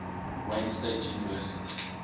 wayne state university